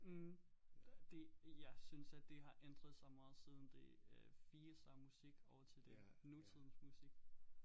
Mh det jeg synes at det har ændret sig meget siden det øh firser musik og til det nutidens musik